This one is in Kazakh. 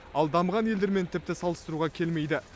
ал дамыған елдермен тіпті салыстыруға келмейді